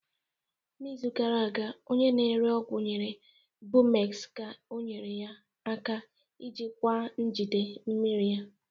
N'izu gara aga, onye na-ere ọgwụ nyere Bumex ka ọnyere ya aka ijikwaa njigide mmiri ya.